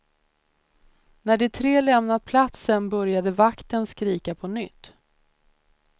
När de tre lämnat platsen började vakten skrika på nytt.